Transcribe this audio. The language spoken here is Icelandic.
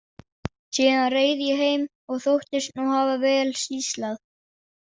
Síðan reið ég heim og þóttist nú hafa vel sýslað.